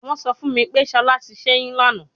Wọn sọ fun mi pe Shola ti ṣẹyun lana